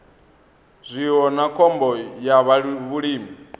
zwiwo na khombo ya vhulimi